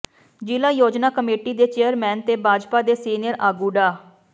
ਜ਼ਿਲ੍ਹਾ ਯੋਜਨਾ ਕਮੇਟੀ ਦੇ ਚੇਅਰਮੈਨ ਤੇ ਭਾਜਪਾ ਦੇ ਸੀਨੀਅਰ ਆਗੁੂ ਡਾ